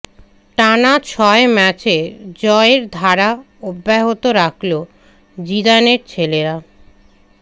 টানা ছয় ম্যাচে জয়ের ধারা অব্যহত রাখলো জিদানের ছেলেরা